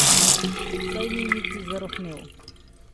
Saj ni niti zarohnel.